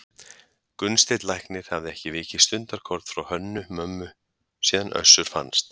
Gunnsteinn læknir hafði ekki vikið stundarkorn frá Hönnu-Mömmu síðan Össur fannst.